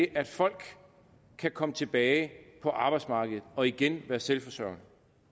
at folk kan komme tilbage på arbejdsmarkedet og igen være selvforsørgende